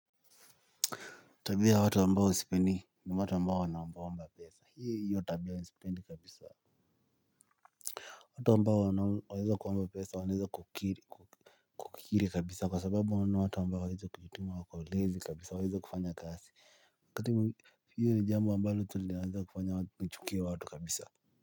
Tabia ya watu ambao sipendi ni watu ambao wanaomba omba pesa hiyo tabia sipendi kabisa. Watu ambao waneza kuomba pesa waneza kukiri kabisa kwa sababu wana watu ambao hawaezi kujituma wako lazy kabisa hawaezi wakafanya kazi. Kati, hilo ni jambo ambao tulianza kufanya tuchukie watu kabisa.